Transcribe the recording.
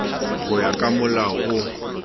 go ya ka molao o